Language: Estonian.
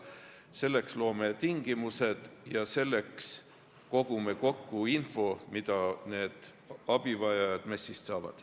Selleks loome tingimused ja selleks kogume kokku info, mida need abivajajad MES-ist saavad.